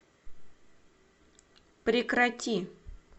прекрати